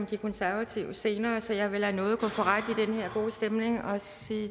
de konservative senere så jeg vil lade nåde gå for ret i den her gode stemning og sige